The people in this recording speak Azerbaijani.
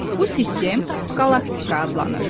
Bu sistem qalaktika adlanır.